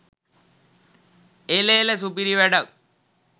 එළ එළ සුපිරි වැඩක්